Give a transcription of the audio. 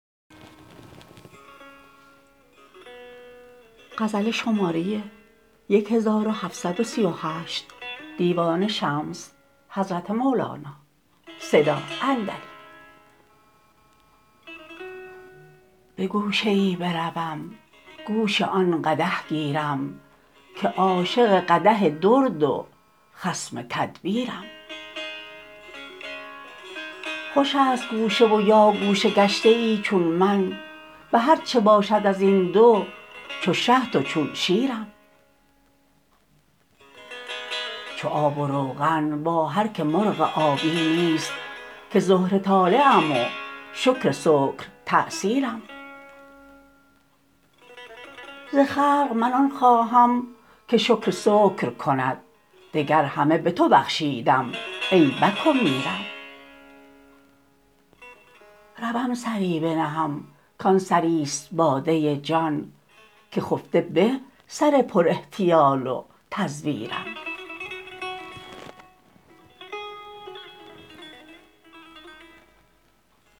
به گوشه ای بروم گوش آن قدح گیرم که عاشق قدح و درد و خصم تدبیرم خوش است گوشه و یا گوشه گشته ای چون من به هر چه باشد از این دو چو شهد و چون شیرم چو آب و روغن با هر کی مرغ آبی نیست که زهره طالعم و شکر سکرتأثیرم ز خلق من آن خواهم که شکر سکر کند دگر همه به تو بخشیدم ای بک و میرم روم سری بنهم کان سری است باده جان که خفته به سر پراحتیال و تزویرم